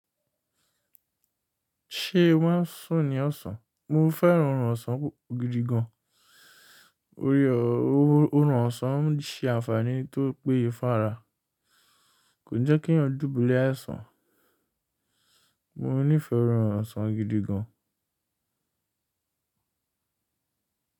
Ṣé o maa sùn ní ọ̀sán? Mo fẹ́ràn ọrùn ọ̀sán gidi gan. Ore ọrùn ọ̀sán ń ṣe àǹfààní tó péye fún ara. Kò jẹ́ kínyàn dúbúlẹ̀ àìsàn. Mo nífẹ̀ orùn ọ̀sán gidi gan.